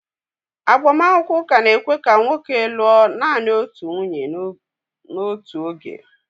Agbamakwụkwọ ụka na-ekwe ka nwoke lụọ naanị otu nwunye n'otu oge